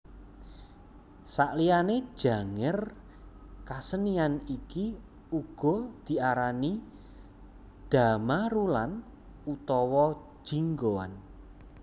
Saliyané Janger kasenian iki uga diarani Dhamarulan utawa Jinggoan